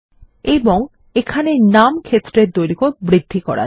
এবং এখানে নাম ক্ষেত্রের দৈর্ঘ্য বৃদ্ধি করা যাক